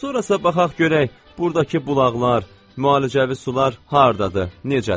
Sonrasa baxaq görək burdakı bulaqlar, müalicəvi sular hardadır, necədir?